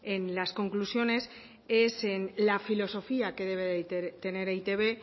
en las conclusiones es en la filosofía que debe tener eitb